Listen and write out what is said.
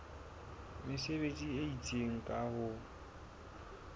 mesebetsi e itseng ka ho